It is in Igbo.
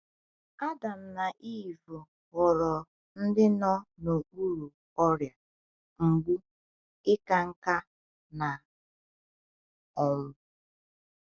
Adam na Ivụ ghọrọ ndị nọ n’okpuru ọrịa, mgbu, ịka nká, na ọnwụ.